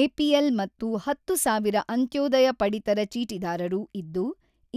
APL ಮತ್ತು ಹತ್ತು ಸಾವಿರ ಅಂತ್ಯೋದಯ ಪಡಿತರ ಚೀಟಿದಾರರು ಇದ್ದು,